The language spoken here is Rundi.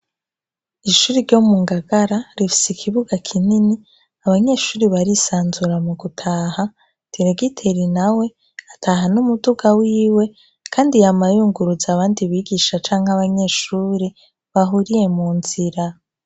Ishuri ryo mu ngagara rifisi ikibuga kinini abanyeshuri barisanzura mu gutaha teregiteri na we ataha n'umuduga wiwe, kandi ye amayunguruzi abandi bigisha canke abanyeshuri bahuriye mu nzira.